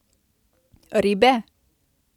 Ribe?